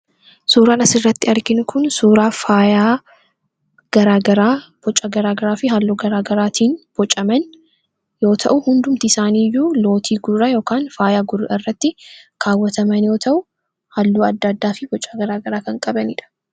Suuraan asirratti arginu Kun, suuraa faayaa garaagaraa boca garaagaraa fi halluu garaagaraan bocaman yoo ta'u, hundumti isaanii iyyuu lootii gurraa yookiin faayaa gurraa irratti kaawwataman yoo ta'u halluu addaa addaa boca garaagaraa kan qabanidha.